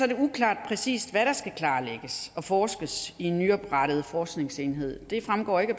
det uklart præcis hvad der skal klarlægges og forskes i i den nyoprettede forskningsenhed dette fremgår ikke af